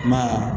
I ma ye